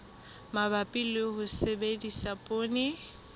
mabapi le ho sebedisa poone